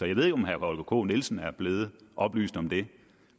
jeg ved ikke om herre holger k nielsen er blevet oplyst om det